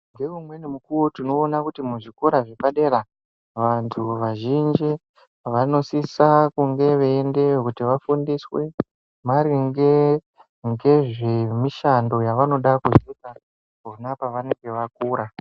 Ngeumweni mukuwo tinoona kuti muzvikora zvepa dera vantu vazhinji vanosisa sisa kunge veyiendeyo kuti vafundiswe maringe ngezvemishando yavanoda kuzoita pona pavanenge vakura.